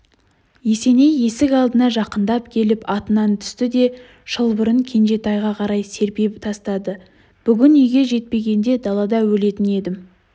есеней есік алдына жақындап келіп атынан түсті де шылбырын кенжетайға қарай серпе тастады бүгін үйге жетпегенде далада өлетін едім